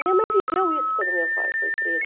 Minha mãe viveu isso quando meu pai foi preso.